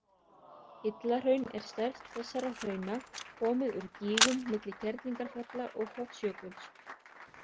Illahraun er stærst þessara hrauna, komið úr gígum milli Kerlingarfjalla og Hofsjökuls.